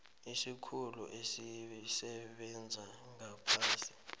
isikhulu esisebenza ngaphasi